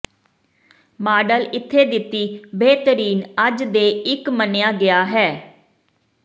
model ਇੱਥੇ ਦਿੱਤੀ ਬੇਹਤਰੀਨ ਅੱਜ ਦੇ ਇੱਕ ਮੰਨਿਆ ਗਿਆ ਹੈ